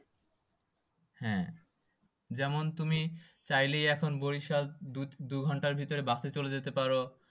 যেমন তুমি চাইলেই এখন বরিশাল দুঘন্টার ভিতরে বাসে চলে যেতে পারো।